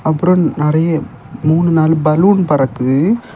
அப்பறம் நிறைய மூணு நாலு பலூன் பறக்குது.